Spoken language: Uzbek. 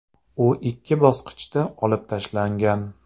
U ikki bosqichda olib tashlangan.